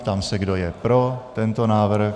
Ptám se, kdo je pro tento návrh.